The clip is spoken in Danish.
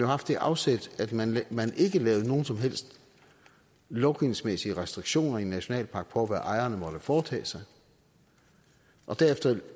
haft det afsæt at man ikke lavede nogen som helst lovgivningsmæssige restriktioner i en nationalpark på hvad ejerne måtte foretage sig og derefter